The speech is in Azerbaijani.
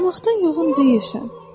Barmaqdan yoğun deyilsən.